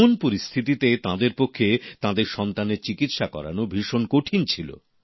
এমন পরিস্থিতিতে তাঁদের পক্ষে তাঁদের সন্তানের চিকিৎসা করানো ভীষণ কঠিন ছিল